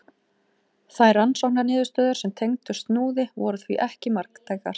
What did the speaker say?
Þær rannsóknarniðurstöður sem tengdust Snúði voru því ekki marktækar.